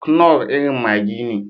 Knorr irin maggi ne.